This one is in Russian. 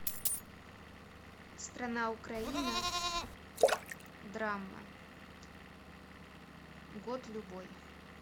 страна украина драма год любой